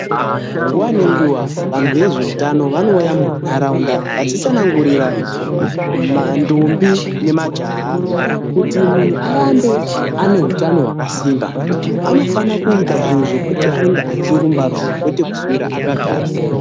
Nguwa nenguwa vanhu vezveutano vamouya munharaunda vachitsanangurira ndombi nemajaha, kuti munhu arambe ane hutano hwakasimba anofana kuita zvinhu zvekuti anenge achirumba rumba kwete kuswera akagara.